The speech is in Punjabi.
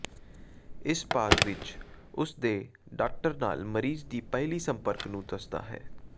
ਇਸ ਭਾਗ ਵਿੱਚ ਉਸ ਦੇ ਡਾਕਟਰ ਨਾਲ ਮਰੀਜ਼ ਦੀ ਪਹਿਲੀ ਸੰਪਰਕ ਨੂੰ ਦੱਸਦਾ ਹੈ